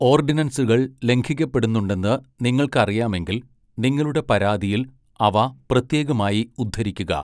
ഓർഡിനൻസുകൾ ലംഘിക്കപ്പെടുന്നുണ്ടെന്ന് നിങ്ങൾക്ക് അറിയാമെങ്കിൽ, നിങ്ങളുടെ പരാതിയിൽ അവ പ്രത്യേകമായി ഉദ്ധരിക്കുക.